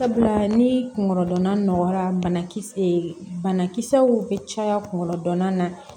Sabula ni kungolodonna nɔgɔyara banakisɛ bana kisɛw bɛ caya kungolo dɔnana na